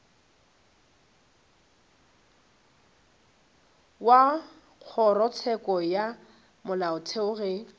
wa kgorotsheko ya molaotheo ge